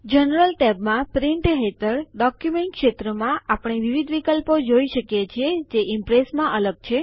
general ટૅબમાં print હેઠળ document ક્ષેત્રમાં આપણે વિવિધ વિકલ્પો જોઈ શકીએ છીએ જે ઈમ્પ્રેસમાં અલગ છે